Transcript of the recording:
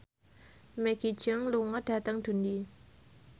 Maggie Cheung lunga dhateng Dundee